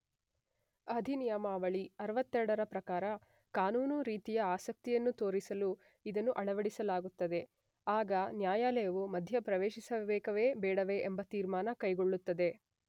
ಅಧಿನಿಯಮಾವಳಿ 62 ರ ಪ್ರಕಾರ ಕಾನೂನು ರೀತಿಯ ಆಸಕ್ತಿಯನ್ನು ತೋರಿಸಲು ಇದನ್ನು ಅಳವಡಿಸಲಾಗುತ್ತದೆ.ಆಗ ನ್ಯಾಯಾಲಯವು ಮಧ್ಯೆ ಪ್ರವೇಶಿಸಬೇಕೇ ಬೇಡವೇ ಎಂಬ ತೀರ್ಮಾನ ಕೈಗೊಳ್ಳುತ್ತದೆ.